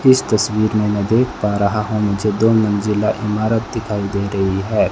इस तस्वीर में मै देख पा रहा हूं मुझे दो मंजिला इमारत दिखाई दे रही है।